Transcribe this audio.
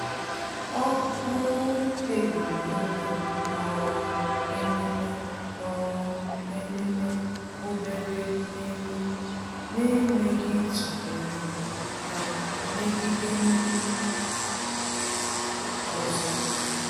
Ọ́ um kpébìrì ímé um ememe um ememe obere mmeri n’énwéghị́ ítụ́nyéré ha megide ndị ọzọ.